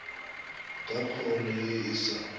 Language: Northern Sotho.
ka kholo ye e sa